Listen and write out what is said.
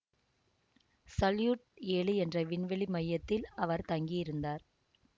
salute ஏழு என்ற விண்வெளி மையத்தில் அவர் தங்கி இருந்தார்